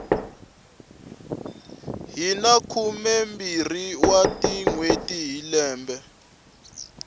hina khumembirhi wa tinhweti hi lembe